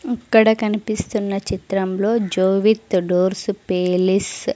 ఇక్కడ కనిపిస్తున్న చిత్రంలో జోవిత్ డోర్స్ పేలెస్ --